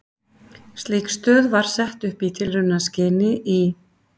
Slík stöð var sett upp í tilraunaskyni í